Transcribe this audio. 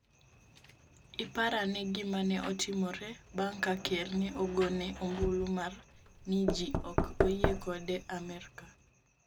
iparane gima ne otimore bang'ka ker ne ogone ombulu mar ni ji ok oyie kode amerka